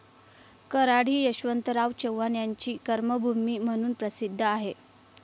कराड हि यशवंतराव चव्हाण यांची कर्मभूमी म्हणून प्रसिद्ध आहे.